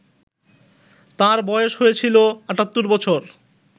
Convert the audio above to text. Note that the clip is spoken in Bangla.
তাঁর বয়স হয়েছিল ৭৮ বছর